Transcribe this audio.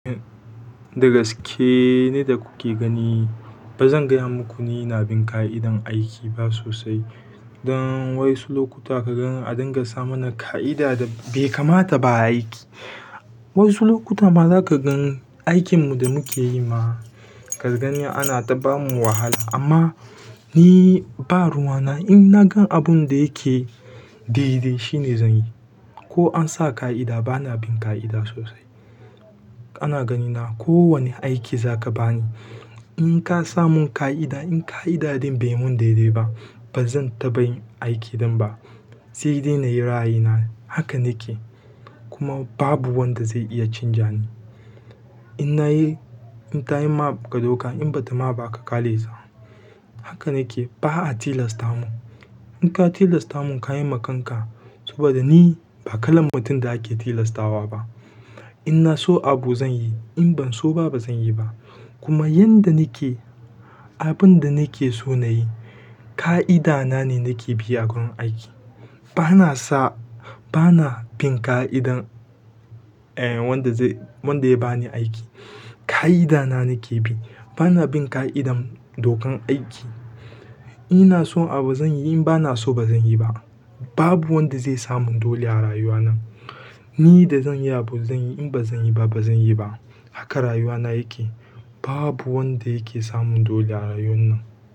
Dagaske ni da kuke gani. Ba zan gaya muku ni na bin ƙa'idar aiki ba sosai. Don wasu lokuta ka gan an dinga sa mana ƙa'ida da bai kamata ba aiki. Waƴansu lokuta ma zaka gan aikinmu da muke yi ma ka gani ana ta bamu wahala. Amma ni ba ruwana, inna gan abun da yake daidai shine zan yi. Ko an sa ƙa'ida bana bin ƙa'ida sosai. Ana ganina ko wane aiki zaka bani in ka sa mun ƙa'ida in ƙa'idar ɗin bai mun daidai ba, bazan taɓa yin aikin ɗin ba. Sai dai na yi ra'ayi na haka nake kuma babu wanda zai iya canja ni. In nayi, in tayi ma ka doka in bata ma ba aka kyalesa. Haka nake ba a tilasta mun. In ka tilasta mun ka yi ma kanka saboda ni ba kalan mutum da ake tilastawa ba. In na so abu zan yi in ban so ba bazan yi ba. Kuma yanda nake abun da nake so na yi ƙa'ida na ne nake bi a gurin aiki. Bana sa, bana bin ƙa'idar eh wanda zai, wanda ya bani aiki. Ƙa'ida na nake bi bana bin ƙa'idar dokan aiki. Ina so abu zan yi in bana so bazan yi ba. Babu wanda zai sa mun dole a rayuwa nan. Ni da zan yi abu zan yi in bazan yi ba bazan yi ba. Haka rayuwa na yake. Babu wanda yake sa mun dole a rayuwan nan.